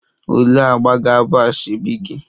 Olee agba ga-abụ asoebi gị?